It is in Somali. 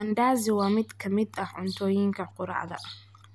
Mandazi waa mid ka mid ah cuntooyinka quraacda